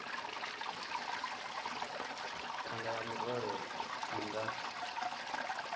thanga ya murole i nga